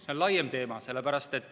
See on laiem teema.